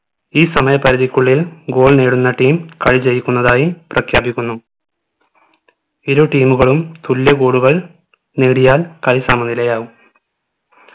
ഈ സമയ പരിധിക്കുള്ളിൽ goal നേടുന്ന team കളി ജയിക്കുന്നതായി പ്രഖ്യാപിക്കുന്നു ഇരു team മുകളും തുല്യ goal കൾ നേടിയാൽ കളി സമനിലയാകും